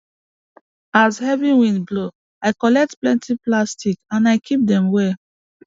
as the heavy wind blow i collect plenty plastic and i keep dem well